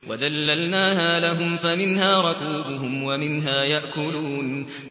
وَذَلَّلْنَاهَا لَهُمْ فَمِنْهَا رَكُوبُهُمْ وَمِنْهَا يَأْكُلُونَ